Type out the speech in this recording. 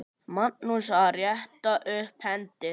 Magnús: Að rétta upp hendi.